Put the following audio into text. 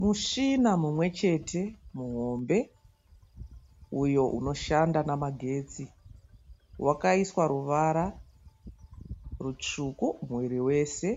Mushina mumwechete muhombe uyo unoshanda namagestsi wakaiswa ruvara rutsvuku muviri wese